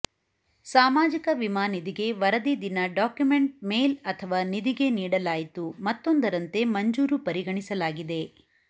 ಸಾಮಾಜಿಕ ವಿಮಾ ನಿಧಿಗೆ ವರದಿ ದಿನ ಡಾಕ್ಯುಮೆಂಟ್ ಮೇಲ್ ಅಥವಾ ನಿಧಿಗೆ ನೀಡಲಾಯಿತು ಮತ್ತೊಂದರಂತೆ ಮಂಜೂರು ಪರಿಗಣಿಸಲಾಗಿದೆ